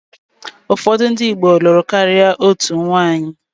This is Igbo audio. Ụfọdụ ndị Igbo lụrụ karịa otu nwaanyị.